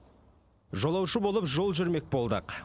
жолаушы болып жол жүрмек болдық